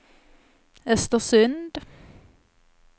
Östersund